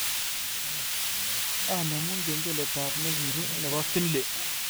Anemun kengeletab negirue nebo finli